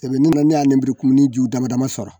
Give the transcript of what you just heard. tɛmɛnen na ne y'a lenburukumuni ju damadama sɔrɔ